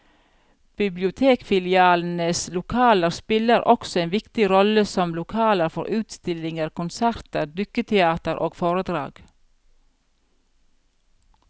Bibliotekfilialenes lokaler spiller også en viktig rolle som lokaler for utstillinger, konserter, dukketeater og foredrag.